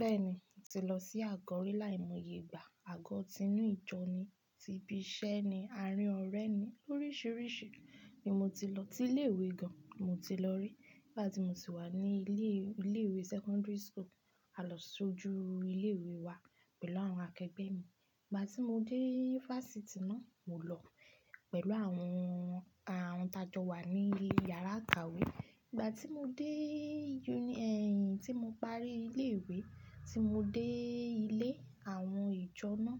Bẹ́ẹ̀ni, ti lọ sí àgọ́ rí láì mọye gbà. Àgọ́ ti inú ìjọ ni, ti ibi iṣẹ́ ni, arín ọ̀rẹ́ ni, oríṣìíríṣìí ni mo ti lọ. Tí ilé ìwé gan mo ti lọ rí. Ìgbà tí mo sì wà ní ilé, ilé ìwé secondary school, a lọ sójú ilé ìwé wa pẹ̀lú àwọn akẹgbẹ́ mi. Ìgbà tí mo dé fásitì náà, mo lọ pẹ̀lú àwọn, àwọn t'a jọ wà ní yàrá ìkàwé. Ìgbà tí mo déèé yí, ẹ̀yin tí mo parí ilé ìwé tí mo dé ilé àwọn ìjọ náà,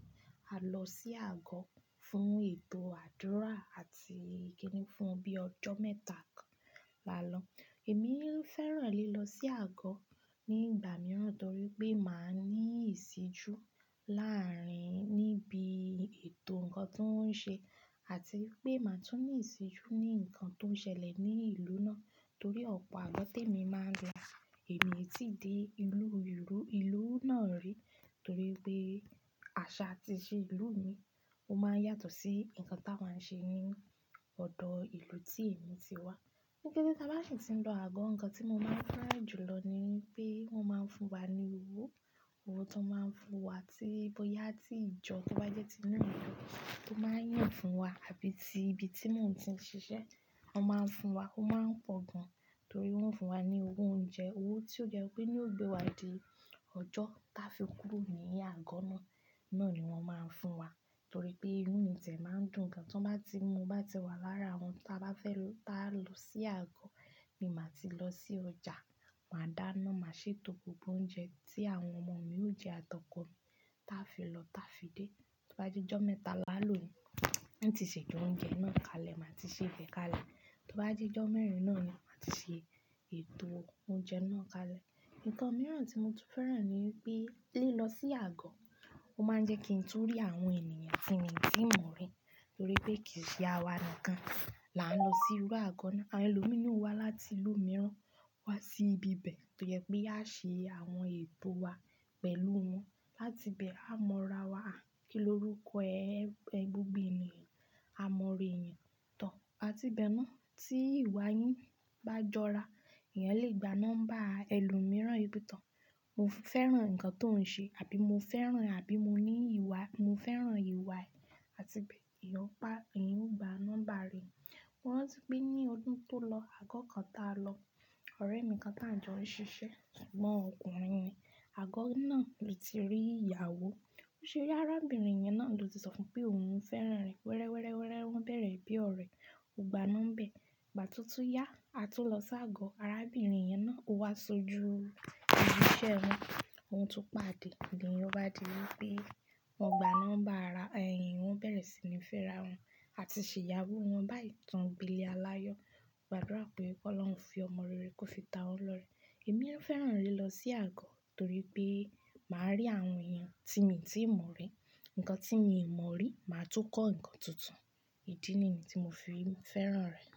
a lọ sí àgọ́ fún ètò àdúrà àti ìkíni fún bíi ọjọ́ mẹ́ta kan là lọ. Èmi ń fẹ́ràn lílọ sí àgọ́ nígbà mìíràn torí pé máa ní ìṣíjú láàárín níbi ètò ǹkan tó ń ṣe àti pé màá tún ní ìṣíjú ní ǹkan tó ń ṣẹlẹ̀ ní ìlú náà torí ọ̀pọ̀ àálọ́ té mi máa lọ. Èmi tíì dé ìlú, ìlú, ìlú náà rí torí pé àṣà tí ì ṣe ìlú mi, ó máa ń yàtọ̀ sí ǹkan táa máa ń ṣe ní ọ̀dọ̀ ìlú tí èmi ti wá. Gẹ́gẹ́ bí a bá sì ń lọ àgọ́, ǹkan tí mo máa ń fẹ́ràn jù lọ ni pé wọ́n máa ń fún wa ní owó. Owó tó máa ń fún wa tí bọ́yá tí ìjọ tíwa jẹ́ ti inú ìlú tó máa ń yàn fún wa àbí ti ibi tí mòún ti ń ṣiṣẹ́ wọ́n máa ń fún wa. Ó máa ń pọ̀ gan torí wọ́n ń fún wa ní owó oúnjẹ, owó tí ó jẹ́ pé ni ó gbé wa dé ọjọ́ táa fi kúrò ní àgọ́ náà. Náà ni wọ́n máa ń fún wa torí pé inu ti e máa ń dùn gan. Tí wọ́n bá ti, mo bá ti wà lára àwọn táa bá fẹ́ lọ, táa lọ sí àgọ́ ni màá ti lọ sí ọjà, màá dáná, màá ṣe gbogbo oúnjẹ tí àwọn ọmọ mi ó jẹ àtọkọ̀ mi táa fi lọ táa fi dé. Tó bá jẹ́ ọjọ́ mẹ́ta là lọ ni, n ó ti ṣẹ̀ jọ oúnjẹ náà kalẹ̀ màá ti ṣè bẹ́ kalẹ̀. Tó bá jẹ́ ọjọ́ mẹ́rin náà ni màá ti ṣe ètò oúnjẹ náà kalẹ̀. Ǹkan mìíràn tí mo tún fẹ́ràn ni pé lílọ sí àgọ́ ó máa ń jẹ́ kí n tún rí àwọn ènìyàn tí èmi tí ń mọ̀ rí torí pé kì í ṣe àwa nìkan là ń lọ sí iru àgọ́ náà. Àwọn ẹlòmíràn wá láti ìlú mìíràn wá sí ibi bẹ̀ torí pé yáa ṣe àwọn ètò wa pẹ̀lú wọn. Láti bẹ́ẹ̀ a mọ ra wa kí lórúkọ ẹ, ẹgbẹ́ obìnrin, a mọ orí ẹ̀yẹn tán. Àti bẹ́ẹ̀ náà tí ìwà yín bá jọra, ìyẹn lè gba nọ́mbà ẹlòmíràn yìí bíi tán. Mo fẹ́ràn ǹkan tó ń ṣe àbí mo fẹ́ràn àbí mo ní ìwà, mo fẹ́ràn ìwà rẹ̀ àti bẹ́ẹ̀ yíò pa, ìyẹn ó gba nọ́mbà rẹ̀. Mo rántí pé ní ọdún tó lọ, àgọ́ kan táa lọ, ọ̀rẹ́ mi kan tá ń jọrí ṣiṣẹ́ ṣùgbọ́n ọkùnrin ni. Àgọ́ náà ló ti rí ìyàwó. Ó ṣe ọ̀rẹ́ arábìnrin yẹn náà ló ti sọ fún un pé òun ń fẹ́ràn rẹ̀. Wéré wéré wéré wọ́n bẹ̀rẹ̀ bí ọ̀rẹ́, ó gba nọ́mbẹ̀. Ìgbà tó tú yá, a tún lọ sí àgọ́ arábìnrin yẹn náà ó wá sojú ibi iṣẹ́ wọn. Ohun tún pàdé, ìdíyin ló bá di wípé wọ́n gba nọ́mbà ara ẹ̀yin, wọ́n bẹ̀rẹ̀ sí ní fẹ́ra wọn àti ṣe ìyàwó wọn. Bá itàn gbilé aláyọ̀. Mo gbàdúrà pé kó lọ́hun fi ọmọ rere kó fi ta wọ́n lọ́rẹ. Èmi ń fẹ́ràn lílọ sí àgọ́ torí pé màá rí àwọn èèyàn tí èmi tí ń mọ̀ rí. Ǹkan tí èmi kò mọ̀ rí, màá tún kọ́ ǹkan tuntun. Idi ni tí mo fi ń fẹ́ràn rẹ̀.